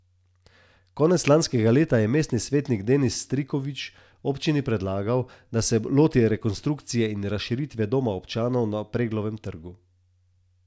Konec lanskega leta je mestni svetnik Denis Striković občini predlagal, da se loti rekonstrukcije in razširitve doma občanov na Preglovem trgu.